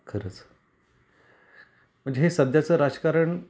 खरंच म्हणजे सध्याचं राजकारण